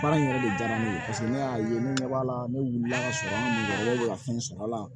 Baara in yɛrɛ de diyara ne ye paseke ne y'a ye ne ɲɛ b'a la ne wulila ka sɔrɔ ne ka fɛn sɔrɔ la